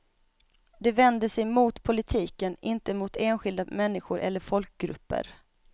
De vänder sig mot politiken, inte mot enskilda människor eller folkgrupper.